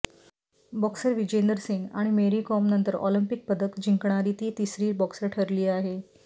boxer Vijender Singh आणि मेरी कोमनंतर Olympic पदक जिंकणारी ती तिसरी बॉक्सर ठरली आहे